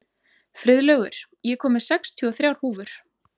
Friðlaugur, ég kom með sextíu og þrjár húfur!